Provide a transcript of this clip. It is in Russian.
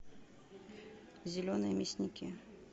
зеленые мясники